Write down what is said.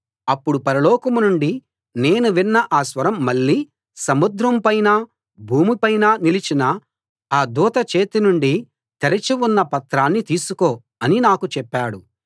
అప్పుడు పరలోకం నుండి నేను విన్న ఆ స్వరం మళ్లీ సముద్రం పైనా భూమిపైనా నిలిచిన ఆ దూత చేతి నుండి తెరచి ఉన్న పత్రాన్ని తీసుకో అని నాకు చెప్పాడు